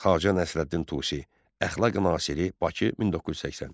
Xacə Nəsrəddin Tusi “Əxlaqi-Nasiri”, Bakı, 1980.